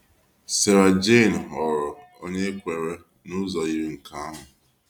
Sarah Jayne ghọrọ onye kweere n’ụzọ yiri nke ahụ.